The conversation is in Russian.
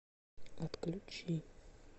отключи